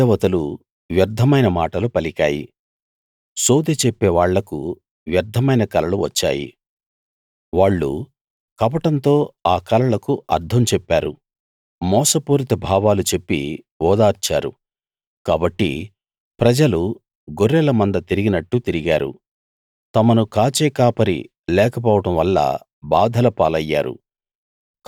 గృహ దేవతలు వ్యర్థమైన మాటలు పలికాయి సోదె చెప్పేవాళ్ళకు వ్యర్ధమైన కలలు వచ్చాయి వాళ్ళు కపటంతో ఆ కలలకు అర్థం చెప్పారు మోసపూరిత భావాలు చెప్పి ఓదార్చారు కాబట్టి ప్రజలు గొర్రెల మంద తిరిగినట్టు తిరిగారు తమను కాచే కాపరి లేకపోవడం వల్ల బాధల పాలయ్యారు